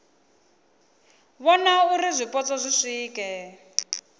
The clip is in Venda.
vhona uri zwipotso zwi swike